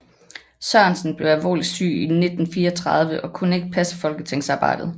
Sørensen blev alvorligt syg i 1934 og kunne ikke passe folketingsarbejdet